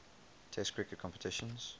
test cricket competitions